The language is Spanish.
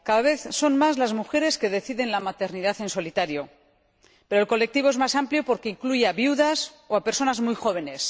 Cada vez son más las mujeres que deciden la maternidad en solitario, pero el colectivo es más amplio porque incluye a viudas o a personas muy jóvenes.